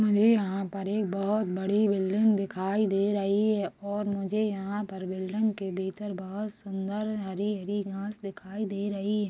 मुझे यहाँ पर एक बहोत बड़ी बिल्डिंग दिखाई दे रही हैं और मुझे यहाँ पर बिल्डिंग के भीतर बहुत सुन्दर हरी- हरी घास दिखाई दे रही--